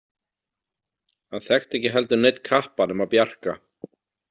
Hann þekkti ekki heldur neinn kappa nema Bjarka.